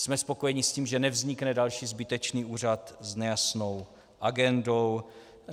Jsme spokojeni s tím, že nevznikne další zbytečný úřad s nejasnou agendou.